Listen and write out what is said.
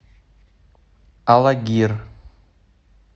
алагир